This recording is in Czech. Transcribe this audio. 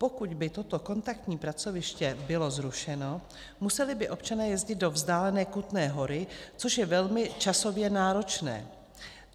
Pokud by toto kontaktní pracoviště bylo zrušeno, museli by občané jezdit do vzdálené Kutné Hory, což je velmi časově náročné.